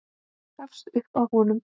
Gafst upp á honum.